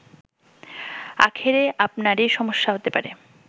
আখেরে আপনারই সমস্যা হতে পারে